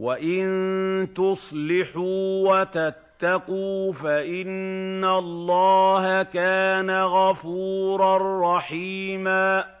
وَإِن تُصْلِحُوا وَتَتَّقُوا فَإِنَّ اللَّهَ كَانَ غَفُورًا رَّحِيمًا